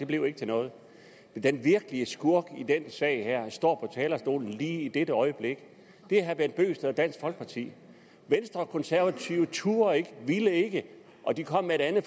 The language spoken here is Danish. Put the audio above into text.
blev ikke til noget den virkelige skurk i den sag står på talerstolen lige i dette øjeblik det er herre bent bøgsted og dansk folkeparti venstre og konservative turde ikke ville ikke og de kom med et andet